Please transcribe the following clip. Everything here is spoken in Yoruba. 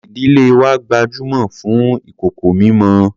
Ìdílé wa gbajúmọ̀ fún ìkòkò mímọ.